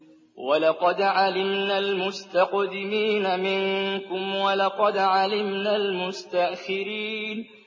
وَلَقَدْ عَلِمْنَا الْمُسْتَقْدِمِينَ مِنكُمْ وَلَقَدْ عَلِمْنَا الْمُسْتَأْخِرِينَ